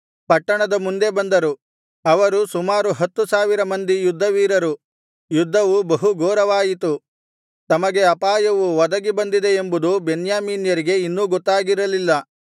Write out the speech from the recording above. ಪಟ್ಟಣದ ಮುಂದೆ ಬಂದರು ಅವರು ಸುಮಾರು ಹತ್ತು ಸಾವಿರ ಮಂದಿ ಯುದ್ಧವೀರರು ಯುದ್ಧವು ಬಹುಘೋರವಾಯಿತು ತಮಗೆ ಅಪಾಯವು ಒದಗಿ ಬಂದಿದೆ ಎಂಬುದು ಬೆನ್ಯಾಮೀನ್ಯರಿಗೆ ಇನ್ನೂ ಗೊತ್ತಾಗಿರಲಿಲ್ಲ